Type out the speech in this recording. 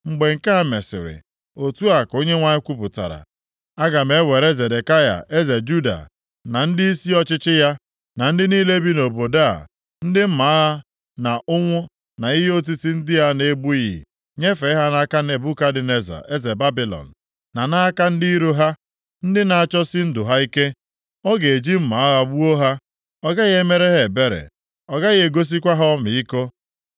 Mgbe nke a mesịrị, Otu a ka Onyenwe anyị kwupụtara, aga m ewere Zedekaya eze Juda, na ndịisi ọchịchị ya, na ndị niile bi nʼobodo a, ndị mma agha na ụnwụ na ihe otiti ndị a na-egbughị, nyefee ha nʼaka Nebukadneza eze Babilọn, na nʼaka ndị iro ha, ndị na-achọsi ndụ ha ike. Ọ ga-eji mma agha gbuo ha. Ọ gaghị emere ha ebere, ọ gaghị egosikwa ha ọmịiko.’